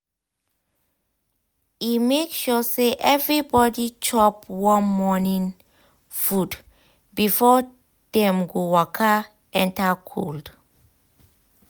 um e make sure say everybody chop um warm morning um food before dem go waka enter cold.